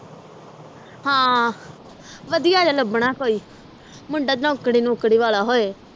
ਹਾਂ ਵਧੀਆ ਜਿਹਾ ਲੱਭਣ ਕੋਈ ਮੁੰਡਾ ਨੌਕਰੀ ਨੁਕਰੀ ਵਾਲਾ ਹੋਏ